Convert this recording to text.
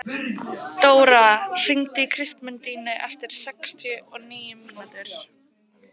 Dóra, hringdu í Kristmundínu eftir sextíu og níu mínútur.